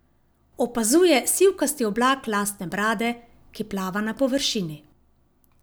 Opazuje sivkasti oblak lastne brade, ki plava na površini.